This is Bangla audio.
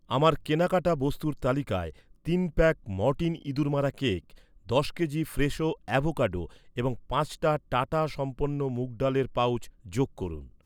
আমার কেনাকাটা বস্তুর তালিকায় তিন প্যাক মর্টিন ইঁদুর মারা কেক, দশ কেজি ফ্রেশো অ্যাভোকাডো এবং পাঁচটা টাটা সম্পন্ন মুগ ডালের পাউচ যোগ করুন।